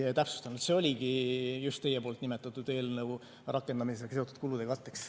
Oligi teie nimetatud eelnõu rakendamisega seotud kulude katteks.